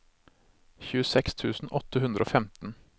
tjueseks tusen åtte hundre og femten